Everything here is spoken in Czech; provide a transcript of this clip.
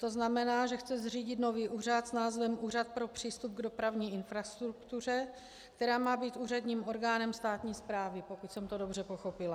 To znamená, že chce zřídit nový úřad s názvem Úřad pro přístup k dopravní infrastruktuře, který má být úředním orgánem státní správy, pokud jsem to dobře pochopila.